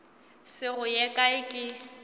se go ye kae ke